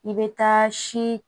I bɛ taa si